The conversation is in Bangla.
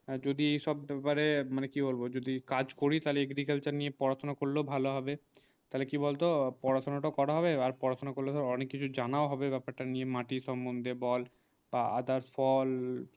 যদি সব ব্যাপারে মানে কি বলবো যদি কাজ করি তালে agriculture নিয়ে পড়াশোনা করলেও ভালো হবে তালে কি বল তো পড়া সোনা টা করা হবে আর পড়া সোনা করলে ধর অনেক কিছু জানা ও হবে ব্যাপার তা নিয়ে মাটি সম্বদ্ধে বল বা others fall